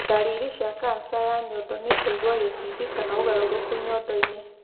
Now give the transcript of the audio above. Ndariri cia kanca ya nyondo nĩ kũigua gĩkindi kana ũgarũrũku nyondo-inĩ.